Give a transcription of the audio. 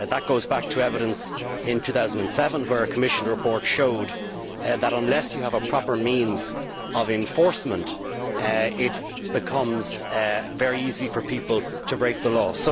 That goes back to evidence in 2007, when a Commission report showed that unless you have proper means of enforcement it becomes very easy for people to break the law.